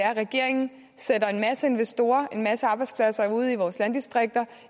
at regeringen sætter en masse investorer en masse arbejdspladser ude i vores landdistrikter